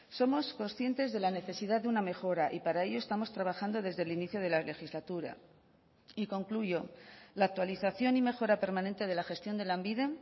somos conscientes de la necesidad de una mejora y para ello estamos trabajando desde el inicio de la legislatura y concluyo la actualización y mejora permanente de la gestión de lanbide